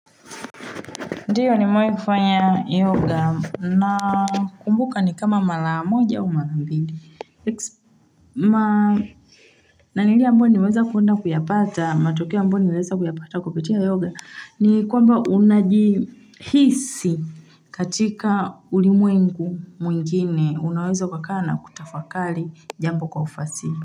Ndiyo nimewahi kufanya yoga na kumbuka ni kama mara moja u mara mbili. Na lile amboa niweza kuyapata, matokea ambayo niweza kuyapata kupitia yoga, ni kwamba unajihisi katika ulimwengu mwingine unowezo ukakaa na kutafakali jambo kwa ufasili.